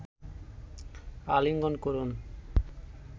আলিঙ্গন করুন